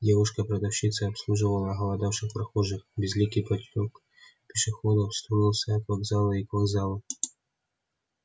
девушка-продавщица обслуживала оголодавших прохожих безликий поток пешеходов струился от вокзала и к вокзалу